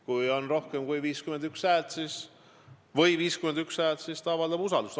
Kui on rohkem kui 51 häält või 51 häält, siis ta avaldab usaldust.